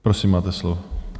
Prosím, máte slovo.